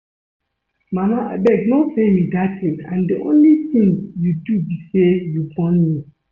Mama abeg no tell me dat thing and the only thing you do be say you born me